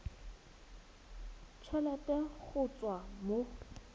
t helete go tswa mo